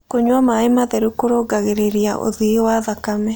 Kũnyua mae matherũ kũrũngagĩrĩrĩa ũthĩĩ wa thakame